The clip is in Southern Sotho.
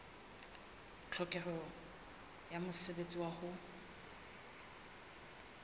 tlhokeho ya mosebetsi wa ho